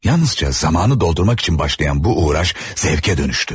Yalnızca zamanı doldurmak için başlayan bu uğraş zevke dönüştü.